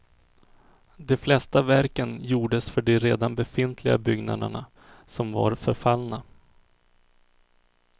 De flesta verken gjordes för de redan befintliga byggnaderna, som var förfallna.